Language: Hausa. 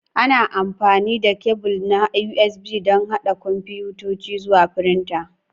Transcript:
Ana amfani da kebul na USB don haɗa kwamfutoci zuwa firinta.